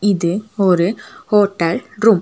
இது ஒரு hotel room .